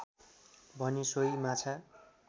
भने सोही माछा